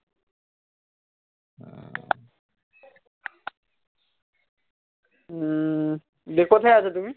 উম দিয়ে কোথায় আছো তুমি